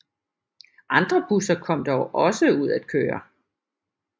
Andre busser kom dog også ud at køre